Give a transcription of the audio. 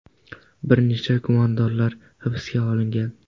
Bir necha gumondorlar hibsga olingan.